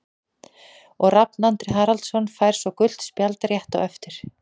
Og Rafn Andri Haraldsson fær svo gult spjald rétt á eftir.